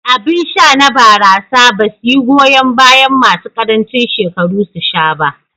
Abin sha na barasa basu yi goyan bayan masu ƙarancin shekaru su sha ba.